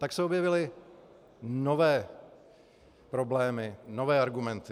Tak se objevily nové problémy, nové argumenty.